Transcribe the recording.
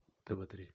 тв три